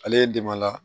Ale ye dɛmɛ la